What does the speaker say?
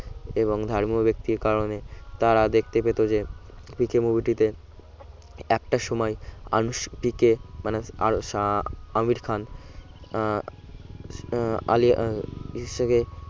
এবং ধর্মীয় ব্যক্তির কারণে তারা দেখতে পেত যে পিকে movie টিতে একটা সময় আনুষ্পিকে মানে আমির খান আহ আহ আলিয়া আহ